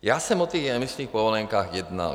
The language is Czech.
Já jsem o těch emisních povolenkách jednal.